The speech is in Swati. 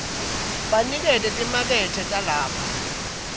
baniketa timakethe talapho